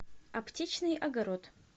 аптечный огород